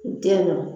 Den na